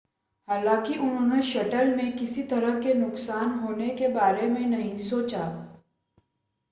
हालांकि उन्होंने शटल में किसी तरह के नुकसान होने के बारे में नहीं सोचा